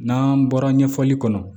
N'an bɔra ɲɛfɔli kɔnɔ